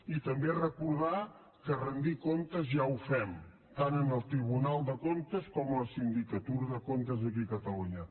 i també recordar que rendir comptes ja ho fem tant en el tribunal de comptes com a la sindicatura de comptes aquí a catalunya